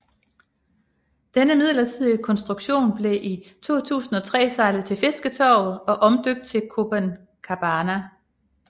Denne midlertidige konstruktion blev i 2003 sejlet til Fisketorvet og omdøbt til Copencabana